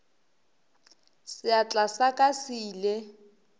seatla sa ka se ile